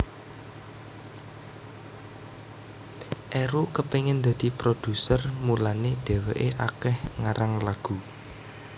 Eru kepengen dadi produser mulane dheweke akeh ngarang lagu